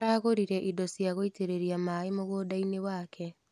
Aragũrire indo cia gũitĩrĩria maĩ mũgũndainĩ wake.